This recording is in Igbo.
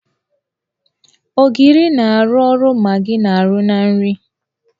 Ogiri na-arụ ọrụ Magị na -arụ na nri.